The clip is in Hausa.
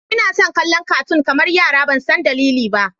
Ina son kallon catoon kamar yara ban san dalili ba.